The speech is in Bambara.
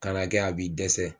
Ka na kɛ a b'i dɛsɛ